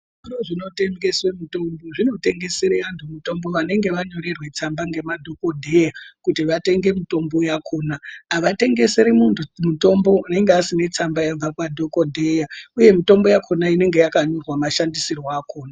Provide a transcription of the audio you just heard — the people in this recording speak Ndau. Zvitoro zvinotengese mitombo zvinotengesere antu mitombo vanenge vanyorerwe tsamba nemadhokodheya kuti vatenge mitombo yakona avatengeseri muntu mutombo unenge asina tsamba yabva kwadhokodheya uye mitombo inenge yakanyorwa mashandisirwo akona .